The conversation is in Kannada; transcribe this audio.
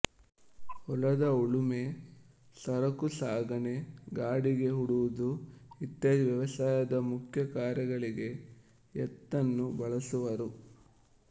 ಹೊಲದ ಉಳುಮೆ ಸರಕುಸಾಗಣೆ ಗಾಡಿಗೆ ಹೂಡುವುದು ಇತ್ಯಾದಿ ವ್ಯವಸಾಯದ ಮುಖ್ಯ ಕಾರ್ಯಗಳಿಗೆ ಎತ್ತನ್ನು ಬಳಸುವರು